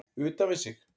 Utan við sig?